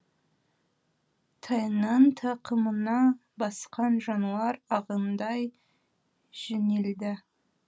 тайынан тақымына басқан жануар ағындай жөнелді